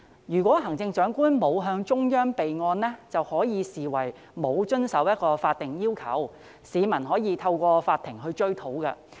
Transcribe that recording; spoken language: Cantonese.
如果行政長官沒有向中央備案，將可視為沒有遵守法定要求，市民可以透過法庭追討。